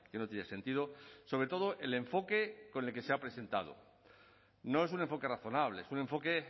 no tiene sentido sobre todo el enfoque con el que se ha presentado no es un enfoque razonable es un enfoque